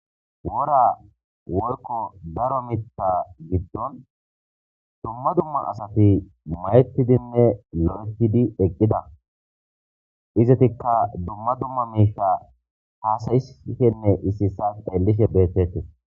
Wora worko daro mitta giddon dumma dumma asati mayttidinne lo7ehidi eqqida izatikka dumma dumma miisha haasayishenne issisas dhellishe beettetes.